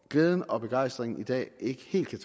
glæden og begejstringen i dag ikke helt kan